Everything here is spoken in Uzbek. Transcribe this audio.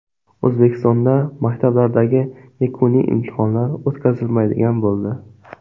O‘zbekistonda maktablardagi yakuniy imtihonlar o‘tkazilmaydigan bo‘ldi.